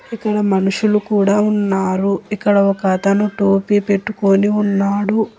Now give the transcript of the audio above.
ఇక్కడ మనుషులు కూడా ఉన్నారు ఇక్కడ ఒక అతను టోపీ పెట్టుకుని ఉన్నాడు.